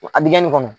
A bi kɛ nin kɔnɔ